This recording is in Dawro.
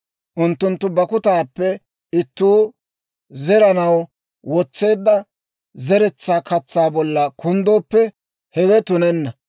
Unttunttu bakkutaappe ittuu zeranaw wotseedda zeretsaa katsaa bolla kunddooppe, hewe tunenna.